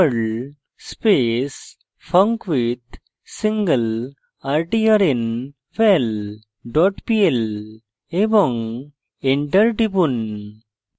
perl space funcwithsinglertrnval dot pl এবং enter টিপুন